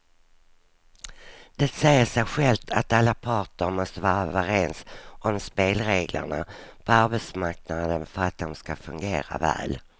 Det säger sig självt att alla parter måste vara överens om spelreglerna på arbetsmarknaden för att de ska fungera väl.